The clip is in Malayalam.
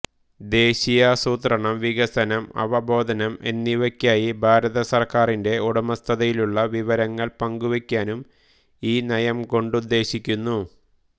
ദേശീയാസൂത്രണം വികസനം അവബോധനം എന്നിവക്കായി ഭാരത സർക്കാരിന്റെ ഉടമസ്ഥതയിലുള്ള വിവരങ്ങൾ പങ്കുവെക്കുവാനും ഈ നയംകൊണ്ടുദ്ദേശിക്കുന്നു